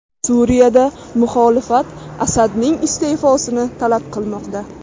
Suriyada muxolifat Asadning iste’fosini talab qilmoqda.